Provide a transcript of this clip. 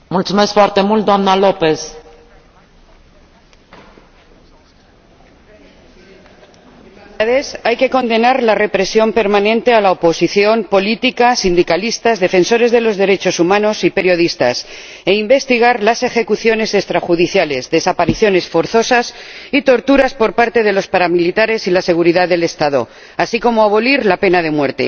Señora Presidenta, hay que condenar la represión permanente de la oposición política, sindicalistas, defensores de los derechos humanos y periodistas, e investigar las ejecuciones extrajudiciales, desapariciones forzosas y torturas por parte de los paramilitares y la seguridad del Estado, así como abolir la pena de muerte.